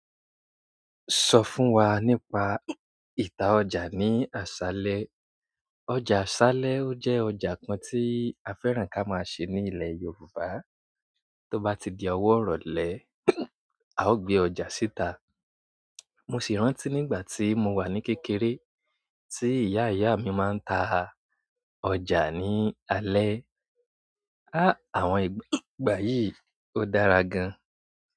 Sọ fún wa nípa ìta ọjà ní àṣálẹ́. Ọjà asalẹ o jẹ ọjà kan ti a fẹ́ràn ka ma se ni ilẹ yorùbá. Tó bá ti di ọwọ́ ìrọ̀lẹ́, a ó gbé ọjà síta. Mo sì rántí nígbà tí mo wà ní kékeré tí ìyá ìyá mi máa ń ta ọjà ní alẹ́. Á, àwọn ìgbà yìí ó dára gan.